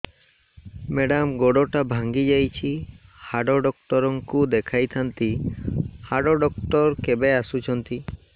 madam ଗୋଡ ଟା ଭାଙ୍ଗି ଯାଇଛି ହାଡ ଡକ୍ଟର ଙ୍କୁ ଦେଖାଇ ଥାଆନ୍ତି ହାଡ ଡକ୍ଟର କେବେ ଆସୁଛନ୍ତି